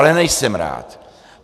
Ale nejsem rád.